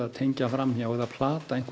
tengja fram hjá eða plata